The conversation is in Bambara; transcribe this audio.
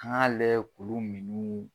An ka layɛ k'olu minniw.